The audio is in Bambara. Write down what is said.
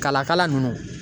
Kala kala nunnu